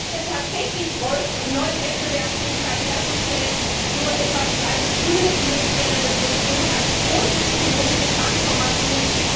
Was wir tatsächlich bräuchten, um neue Wettbewerbsfähigkeit herzustellen, ist so etwas wie eine grüne industrielle Revolution, eine große ökologische Transformation.